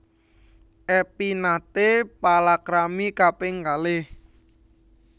Epy naté palakrami kaping kalih